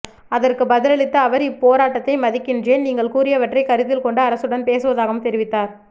அதற்குப் பதிலளித்த அவர் இப் போராட்டத்தை மதிகின்றேன் நீங்கள் கூறியவற்றை கருத்தில் கொண்டு அரசுடன் பேசுவதாகவும் தெரிவித்தார்